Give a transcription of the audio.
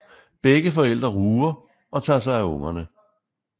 Begge forældre ruger og tager sig af ungerne